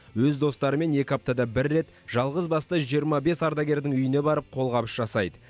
өз достарымен екі аптада бір рет жалғызбасты жиырма бес ардагердің үйіне барып қолғабыс жасайды